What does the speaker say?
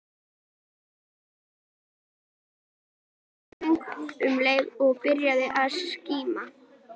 Þau lentu við fuglasöng um leið og byrjaði að skíma.